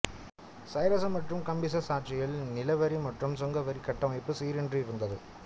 சைரசு மற்றும் காம்பிசெஸ் ஆட்சியில் நில வரி மற்றும் சுங்க வரி கட்டமைப்பு சீர் இன்றி இருந்தது